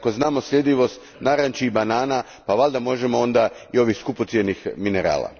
Jer ako znamo sljedivost naranči i banana pa valjda možemo onda i ovih skupocjenih minerala.